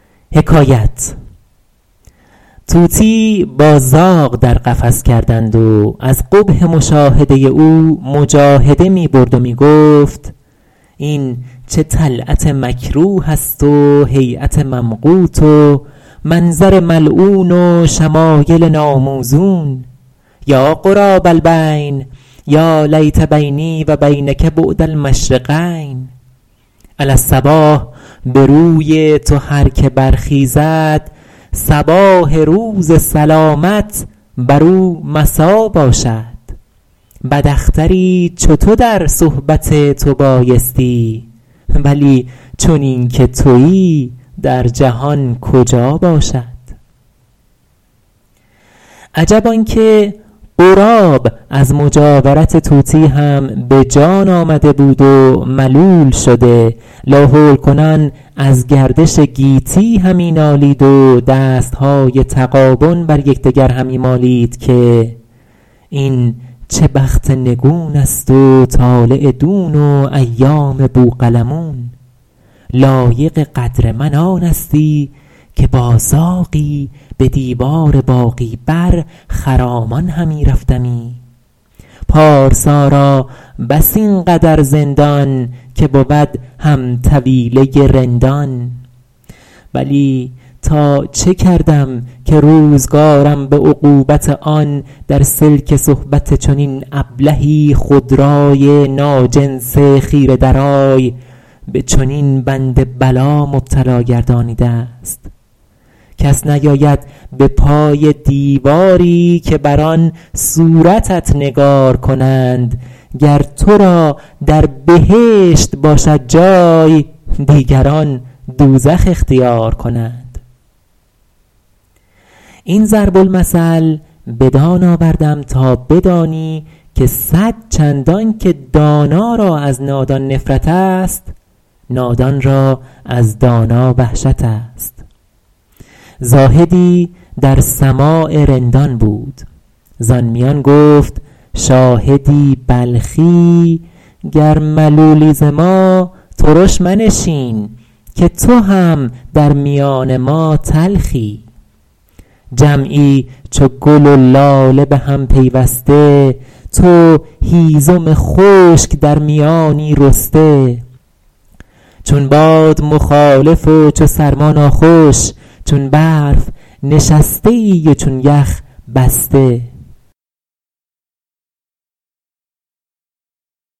طوطیی با زاغ در قفس کردند و از قبح مشاهده او مجاهده می برد و می گفت این چه طلعت مکروه است و هیأت ممقوت و منظر ملعون و شمایل ناموزون یا غراب البین یا لیت بینی و بینک بعد المشرقین علی الصباح به روی تو هر که برخیزد صباح روز سلامت بر او مسا باشد بد اختری چو تو در صحبت تو بایستی ولی چنین که تویی در جهان کجا باشد عجب آن که غراب از مجاورت طوطی هم به جان آمده بود و ملول شده لاحول کنان از گردش گیتی همی نالید و دستهای تغابن بر یکدگر همی مالید که این چه بخت نگون است و طالع دون و ایام بوقلمون لایق قدر من آنستی که با زاغی به دیوار باغی بر خرامان همی رفتمی پارسا را بس این قدر زندان که بود هم طویله رندان بلی تا چه کردم که روزگارم به عقوبت آن در سلک صحبت چنین ابلهی خودرای ناجنس خیره درای به چنین بند بلا مبتلا گردانیده است کس نیاید به پای دیواری که بر آن صورتت نگار کنند گر تو را در بهشت باشد جای دیگران دوزخ اختیار کنند این ضرب المثل بدان آوردم تا بدانی که صدچندان که دانا را از نادان نفرت است نادان را از دانا وحشت است زاهدی در سماع رندان بود زآن میان گفت شاهدی بلخی گر ملولی ز ما ترش منشین که تو هم در میان ما تلخی جمعی چو گل و لاله به هم پیوسته تو هیزم خشک در میانی رسته چون باد مخالف و چو سرما ناخوش چون برف نشسته ای و چون یخ بسته